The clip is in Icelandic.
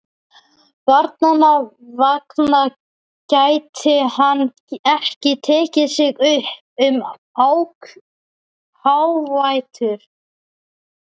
Barnanna vegna gæti hann ekki tekið sig upp um hávetur.